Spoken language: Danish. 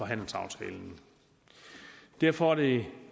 handelsaftalen derfor er det